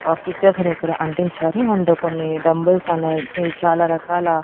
ఆ పిక్చర్స్ అనేయిక్కడ అంటించారు అండ్ కొన్ని డంబుల్స్ అనేయి చాలా రకాల--